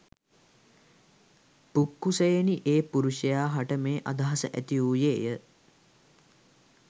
පුක්කුසයෙනි ඒ පුරුෂයා හට මේ අදහස ඇතිවූයේ ය.